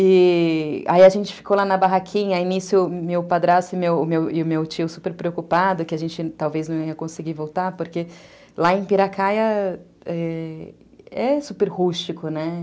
E, aí a gente ficou lá na barraquinha, a início meu padrasto e o meu tio super preocupado que a gente talvez não ia conseguir voltar, porque lá em Piracaia é, é é super rústico, né?